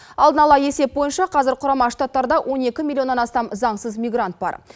алдын ала есеп бойынша қазір құрама штаттарда он екі миллионнан астам заңсыз мигрант бар